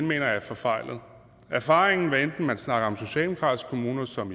mener jeg er forfejlet erfaringen er hvad enten man snakker om socialdemokratiske kommuner som